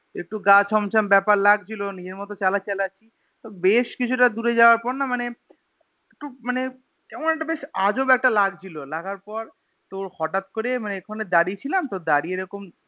একটু গা ছম ছম ব্যাপার লাগছিলো নিজের মত চালা চালাচ্ছি তো বেশ কিছুটা দূরে যাওয়ার পর না মানে একটু মানে কেমন একটা বেশ আজব একটা লাগছিল লাগার পর তোর হটাৎ করে মানে ওখানে দাঁড়িয়েছিলাম তো দাঁড়িয়ে এরকম